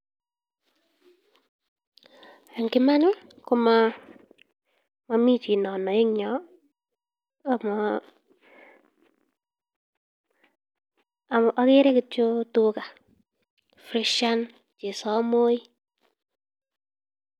ing yoto mami chi nemuch anai akere kityo tuga freshian chenoyo